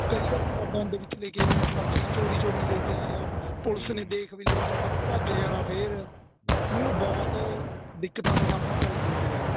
ਕਈ ਵਾਰ ਬੰਦ ਵਿੱਚ ਲੇਕੇ ਆਇਆ ਮੈਂ ਸਬਜੀ ਚੋਰੀ ਚੋਰੀ ਲੇਕੇ ਆਇਆ ਪੁਲਸ ਨੇ ਦੇਖ ਵੇ ਲੇਣਾ ਭੱਜ ਜਾਣਾ ਫੇਰ ਮਤਲਬ ਬਹੁਤ ਦਿੱਕਤਾ ਤਾਂ ਸਾਮਣਾ ਕਰਨਾ ਪਿਆ ਜੀ